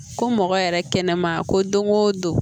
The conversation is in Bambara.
Ko mɔgɔ yɛrɛ kɛnɛma ko don o don